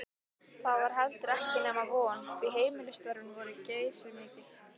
Það var heldur ekki nema von, því heimilisstörfin voru geysimikil.